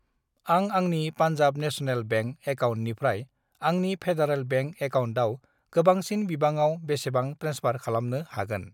आं आंनि Punjab national bank एकाउन्टनिफ्राय आंनि फेडारेल बेंक एकाउन्टआव गोबांसिन बिबाङाव बेसेबां ट्रेन्सफार खालामनो हागोन?